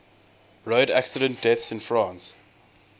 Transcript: road accident deaths in france